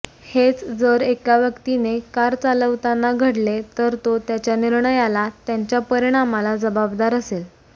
हेच जर एका व्यक्तीने कार चालवताना घडले तर तो त्याच्या निर्णयाला त्यांच्या परिणामाला जबाबदार असेल